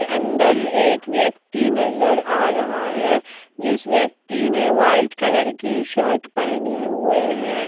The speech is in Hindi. अंदर एक व्यक्ति नजर आ रहा है जिस व्यक्ति ने व्हाइट कलर की शर्ट पहने हुए है।